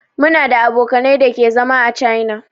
Muna da abokanai da ke zama a china.